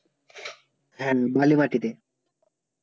হ্যাঁ বালু মাটিতে